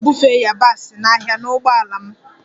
M ga-ebufe yabasị n'ahịa na ụgbọala m